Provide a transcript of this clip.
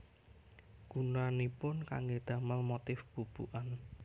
Gunanipun kanggé damel motif bubukan